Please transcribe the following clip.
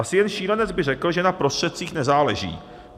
Asi jen šílenec by řekl, že na prostředcích nezáleží.